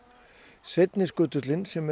seinni skutullinn sem er